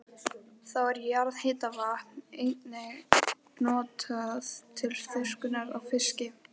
Þá er jarðhitavatn einnig notað til þurrkunar á fiski.